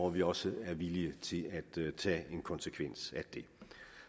vi også er villige til at tage en konsekvens af det